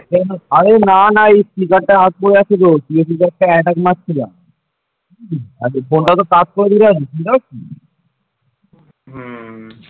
হম